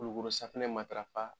Kulukorosafunɛ matarafa